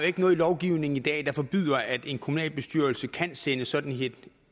ikke noget lovgivning i dag der forbyder at en kommunalbestyrelse kan sende sådan